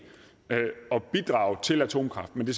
at bidrage til atomkraft men det